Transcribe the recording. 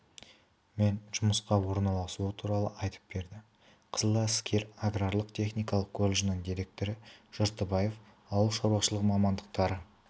мен жұмысқа орналасуы туралы айтып берді қызыл әскер аграрлық-техникалық колледжінің директоры жартыбаев ауыл шаруашылығы мамандықтары